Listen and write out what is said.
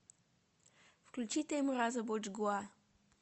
включи теймураза боджгуа